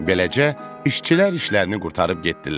Beləcə, işçilər işlərini qurtarıb getdilər.